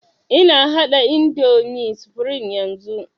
Ina haɗa indomie supreme yanzun